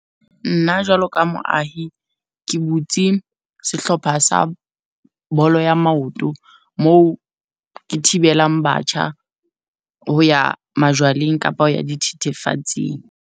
Nna jwalo ka moahi, ke butse sehlopha sa bolo ya maoto moo ke thibelang batjha ho ya majwaleng kapa ho ya dithethefatsing.